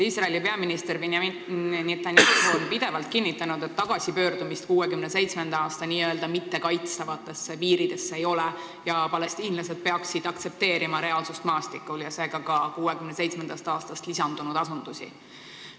Iisraeli peaminister Benyamin Netanyahu on pidevalt kinnitanud, et tagasipöördumist 1967. aasta n-ö mittekaitstavatesse piiridesse ei tule ning palestiinlased peaksid aktsepteerima reaalsust maastikul, seega ka 1967. aastast lisandunud asundusi.